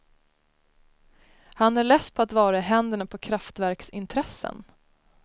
Han är less på att vara i händerna på kraftverksintressen.